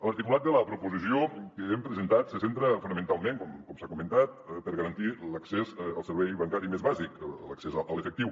l’articulat de la proposició que hem presentat se centra fonamentalment com s’ha comentat a garantir l’accés al servei bancari més bàsic l’accés a l’efectiu